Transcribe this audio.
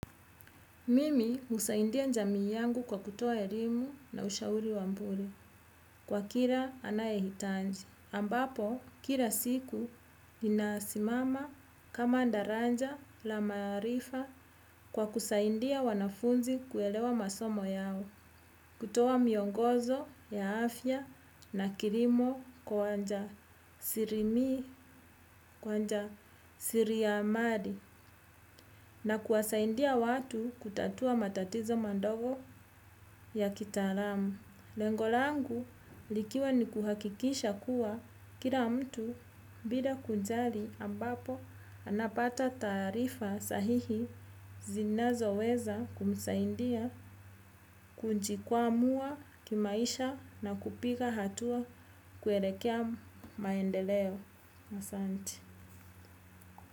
Mimi husaidia jamii yangu kwa kutoa elimu na ushauri wa bure kwa kila anayehitaji. Ambapo kila siku ninasimama kama daraja la maarifa kwa kusaidia wanafunzi kuelewa masomo yao. Kutoa miongozo ya afya na kilimo kwa wajasiamali na kuwasaidia watu kutatua matatizo madogo ya kitaalamu. Lengo langu likiwa ni kuhakikisha kuwa kila mtu bila kujali ambapo anapata taarifa sahihi zinazoweza kumsaidia kujikwamua kimaisha na kupiga hatua kuelekea maendeleo.